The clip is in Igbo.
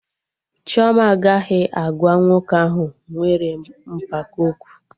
Chioma agaghị agwa nwoke ahụ nwere mpako okwu